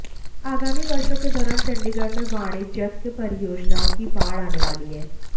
आगामी वर्षों के दौरान चंडीगढ़ में वाणिज्यिक परियोजनाओं की बाढ़ आने वाली है